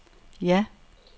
ja